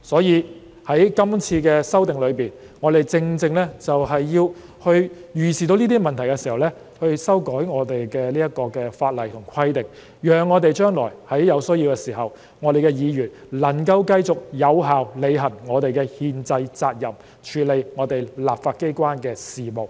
因此，在今次的修訂中，我們正正要在預視這些問題時修改相關法例和規定，以致在將來有需要的時候，議員能夠繼續有效履行我們的憲制責任，處理立法機關的事務。